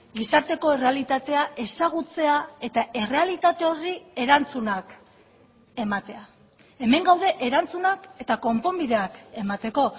gizarteko errealitatea ezagutzea eta errealitate horri erantzunak ematea hemen gaude erantzunak eta konponbideak emateko